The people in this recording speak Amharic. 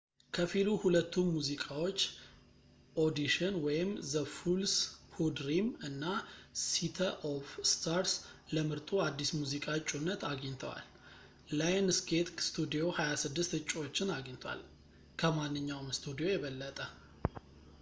ከፊሉ ሁለቱ ሙዚቃዎች፣ ኦዲሽን ዘ ፉልስ ሁ ድሪም እና ሲተ ኦፍ ስታርስ፣ ለምርጡ አዲስ ሙዚቃ እጩነት አግኝተዋል። ላየንስጌት ስቱዲዮ 26 እጩዎችን አገኝቷል — ከማንኛውም ስቱዲዮ የበለጠ